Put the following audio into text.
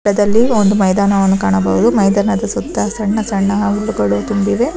ಚಿತ್ರದಲ್ಲಿ ಒಂದು ಮೈದಾನವನ್ನು ಕಾಣಬಹುದು ಮೈದಾನದ ಸುತ್ತ ಸಣ್ಣ ಸಣ್ಣ ಅವಲುಗಳು ತುಂಬಿವೆ.